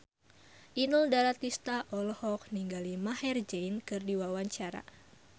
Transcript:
Inul Daratista olohok ningali Maher Zein keur diwawancara